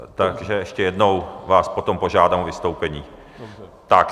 Takže ještě jednou vás potom požádám o vystoupení.